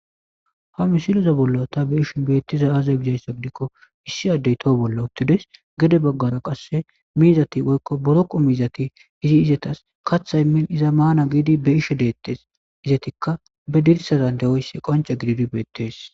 Ha missileza bolan ta be'ashe betizay aze gizaysa gidiko issi adey gede bola utides gede bagara qase miizati woyko boroqo miizati izi izetas kata imin izan Mana gidi be'ishe detes izetika be dirisazika de'oysi qonc'e gididi betes.